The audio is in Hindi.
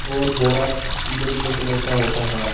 और बोरा पीले पीले कलर का होता है।